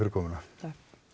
komuna takk